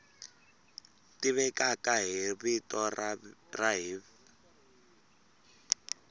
tivekaka hi vito ra hiv